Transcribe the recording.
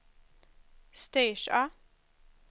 Styrsö